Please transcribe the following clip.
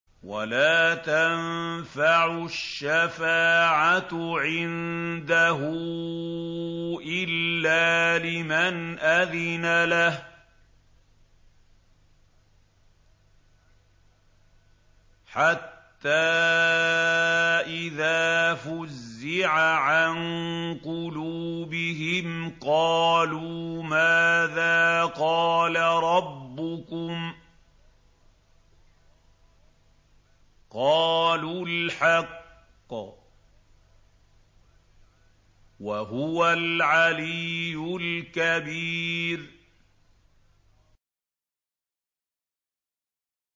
وَلَا تَنفَعُ الشَّفَاعَةُ عِندَهُ إِلَّا لِمَنْ أَذِنَ لَهُ ۚ حَتَّىٰ إِذَا فُزِّعَ عَن قُلُوبِهِمْ قَالُوا مَاذَا قَالَ رَبُّكُمْ ۖ قَالُوا الْحَقَّ ۖ وَهُوَ الْعَلِيُّ الْكَبِيرُ